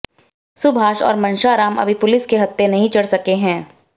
सुभाष और मनशाराम अभी पुलिस के हत्थे नहीं चढ़ सके हैं